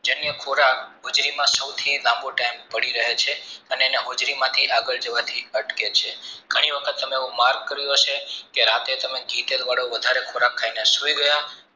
જન્ય ખોરાક હોજરીમાં સૌ થી લમ્બો time ભરી રહે છે અને એના હોજરી માંથી આગળ જેથી અટકે છે ઘણી વખત mark કર્યું હશે કે રાતે તમે ઘી તેલ વાળું વધારે ખોરાક ખાય ને સૂર્ય ગયા